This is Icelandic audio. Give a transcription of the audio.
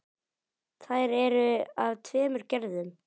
Þær eru af tveimur gerðum.